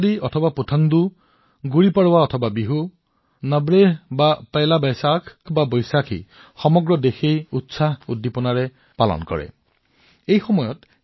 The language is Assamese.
উগাদি হওক বা পুথণ্ডু গুড়ি পড়ৱা হওক বা বিহু নৱৰেহ বা পোইলা বা বৈশাখ বা বৈইসাখি সমগ্ৰ দেশবাসী উৎসাহ উদ্দীপনা আৰু নতুন প্ৰত্যাশাৰ ৰঙত নিমজ্জিত হব